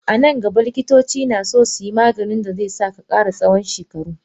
A nan gaba Likitoci naso suyi Maganin dazesa kara tsawan shekaru.